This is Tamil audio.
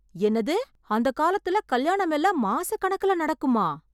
என்னது அந்த காலத்துல கல்யாணம் எல்லாம் மாச கணக்குல நடக்குமா?